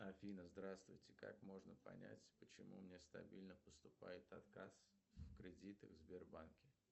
афина здравствуйте как можно понять почему мне стабильно поступает отказ в кредитах в сбербанке